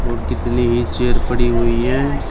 और कितने ही चेयर पड़ी हुई है।